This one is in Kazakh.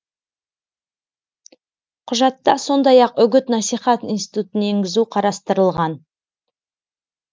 құжатта сондай ақ үгіт насихат институтын енгізу қарастырылған